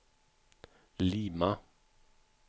Lima